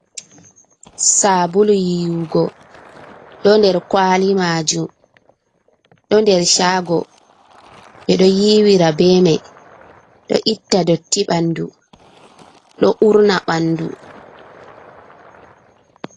Sabulu yiwugo. Ɗo nɗer kwali majum. Ɗo nɗer shago. Be ɗo yiwira bemai. Ɗo itta ɗotti banɗu. Ɗo urna banɗu.